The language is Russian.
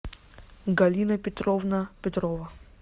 галина петровна петрова